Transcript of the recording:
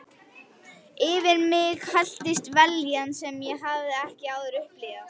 Yfir mig helltist vellíðan sem ég hafði ekki áður upplifað.